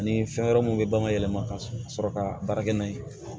Ani fɛn wɛrɛ minnu bɛ ban ka yɛlɛma ka sɔrɔ ka baara kɛ n'a ye